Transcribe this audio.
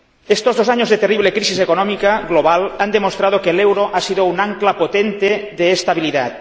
Estos dos años de terrible crisis económica global han demostrado que el euro ha sido un ancla potente de estabilidad.